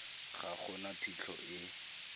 ga go na phitlho e